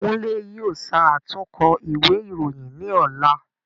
Kunle yóò ṣàtúnkọ ìwé ìròyìn ni ọ̀la